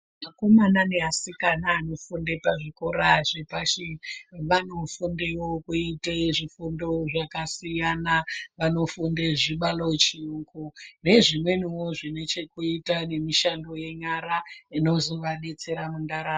Akomana neasikana anofunde pazvikora zvepashi vanofundewo kuite zvifundo zvakasiyana vanofunde zvibalo, chiyungu nezvimweniwo zvinechekuite nemishando yenyara inozovadetsera mundaramo.